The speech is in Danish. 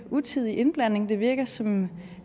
utidig indblanding det virker som